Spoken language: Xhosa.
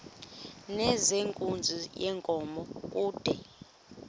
nezenkunzi yenkomo kude